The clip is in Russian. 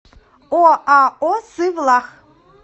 оао сывлах